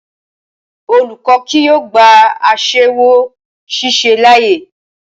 Olùkọ́ kì yóò gba aṣẹ́wó ṣíṣe láàyè